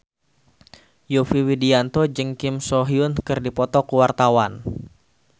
Yovie Widianto jeung Kim So Hyun keur dipoto ku wartawan